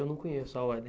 Eu não conheço a ordem.